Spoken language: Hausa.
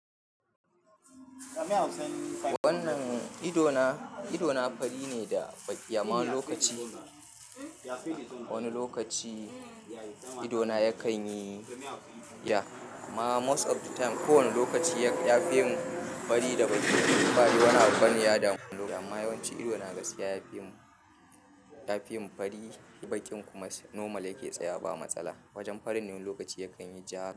Wannan idona, idona fari ne da baki amma wani lokaci. Wani lokaci idona yakan yi ja amma most of the time, ko wani lokaci ya fi yin fari da baki ba wani abu bane ya damu. Amma yawanci idona gaskiya ya fi yin fari bakin kuma normal yake tsaya ba matsala. Wajen farin ni lokaci yakan yi ja.